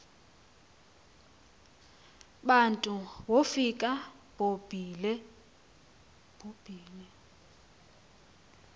bantu wofika bobile